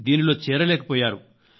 దీనిలో చేరలేకపోయారు